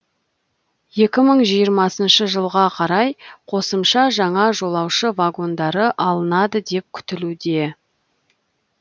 екі мың жиырмасыншы жылға қарай қосымша жаңа жолаушы вагондары алынады деп күтілуде